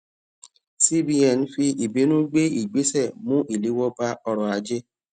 cbn fi ìbínú gbé ìgbésè mú ìléwó bá ọrò ajé